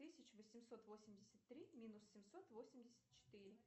тысяч восемьсот восемьдесят три минус семьсот восемьдесят четыре